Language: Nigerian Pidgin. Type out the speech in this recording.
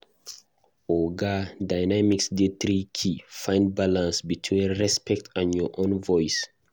Oga dynamics dey tricky; find balance between respect and your own voice.